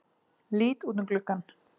Lít út um gluggann.